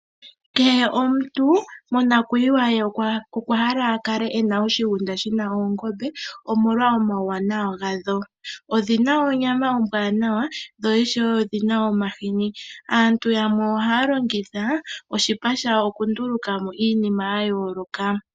Kehe omuntu monakuyiwa ye okwahala akale ena oshigunda shina oongombe omolwa omawuwnawa gadho. Odhina onyama ombwaanawa dho ishewe odhina omahini. Aantu yamwe ohaya longitha oshipa shadho okunduulukamo iinima yayooloka.